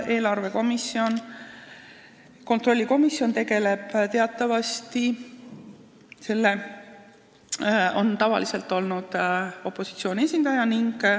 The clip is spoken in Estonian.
Selle kontrollikomisjoni juht on meil tavaliselt olnud opositsiooni esindaja.